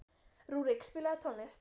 Rúrik, spilaðu tónlist.